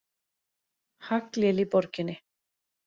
Haglél í borginni